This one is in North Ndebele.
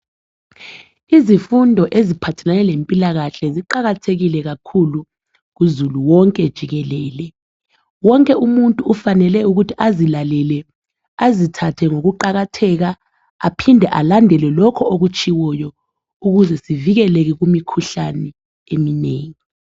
Izifundo eziphathelane lempilakahle ziqakathekile kakhulu kuzulu wonke jikelele. Wonke umuntu ufanele ukuthi azilalele, azithathe ngokuqakatheka aphinde alandele lokho okutshiwoyo ukuze sivikeleke kumikhuhlane eminengi.